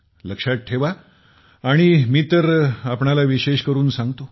लक्षात ठेवा आणि मी तर आपणाला विशेष करून सांगतो